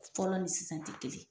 Fɔlɔ ni sisan ti kelen ye